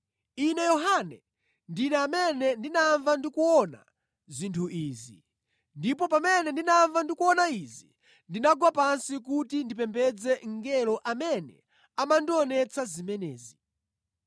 Ine Yohane, ndine amene ndinamva ndi kuona zinthu izi. Ndipo pamene ndinamva ndi kuona izi ndinagwa pansi kuti ndipembedze mngelo amene amandionetsa zimenezi.